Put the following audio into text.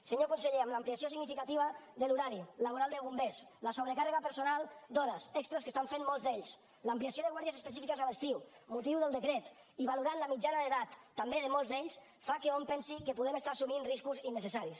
senyor conseller amb l’ampliació significativa de l’horari laboral de bombers la sobrecàrrega personal d’hores extres que estan fent molts d’ells l’ampliació de guàrdies específiques a l’estiu motiu del decret i valorant la mitjana d’edat també de molts d’ells fa que hom pensi que podem estar assumint riscos innecessaris